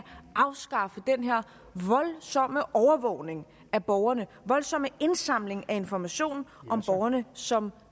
afskaffe den her voldsomme overvågning af borgerne den voldsomme indsamling af information om borgerne som